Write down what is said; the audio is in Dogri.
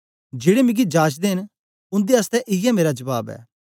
जेड़े मिगी जाचदे न उन्दे आसतै इयै मेरा जबाब ऐ